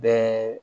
Bɛɛ